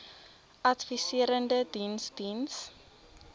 adviserende diens diens